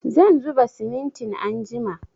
Zan zuba simintin anjima